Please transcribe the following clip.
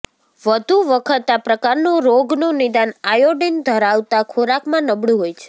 વધુ વખત આ પ્રકારના રોગનું નિદાન આયોડિન ધરાવતા ખોરાકમાં નબળું હોય છે